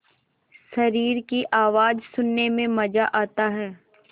शरीर की आवाज़ सुनने में मज़ा आता है